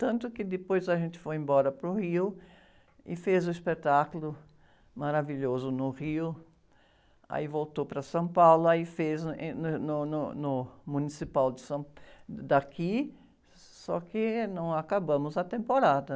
Tanto que depois a gente foi embora para o Rio e fez o espetáculo maravilhoso no Rio, aí voltou para São Paulo, aí fez em, no, no, no Municipal de São... Daqui, só que não acabamos a temporada.